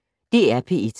DR P1